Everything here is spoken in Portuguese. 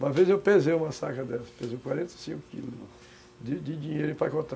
Uma vez eu pesei uma saca dessas, pesei quarenta e cinco quilos de de dinheiro empacotado.